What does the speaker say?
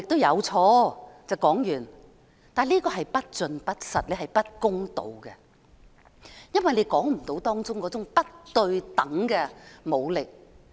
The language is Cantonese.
然而，這是不盡不實、不公道的，因為你未能道出當中的不對等武力。